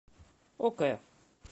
ок